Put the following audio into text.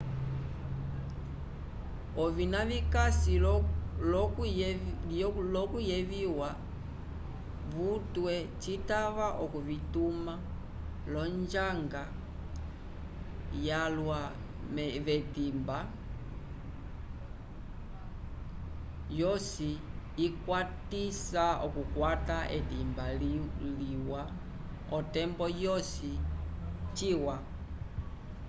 ovina vikasi l'okuyeviwa vutwe citava okuvituma l'onjanga yalwa k'etimba yosi ikwatisa okukwata etimba liwa otembo yosi ciwa